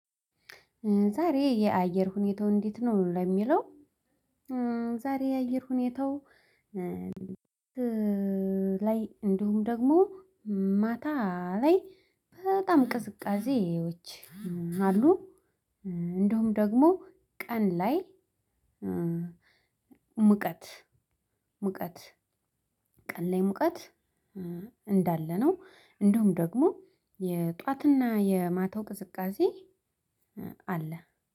ዛሬ የአየር ሁኔታው እንዴት ነው? ለሚለው ዛሬ የአየር ሁኔታው ላይ እንዲሁም ደግሞ ማታ ላይ በጣም ቅዝቃዜዎች አሉ እንዲሁም ደግሞ ቀን ላይ ሙቀት ሙቀት ቀን ላይ ሙቀት እንዳለ ነው እንዲሁም ደግሞ የጧትና የማታው ቅዝቃዜ አለ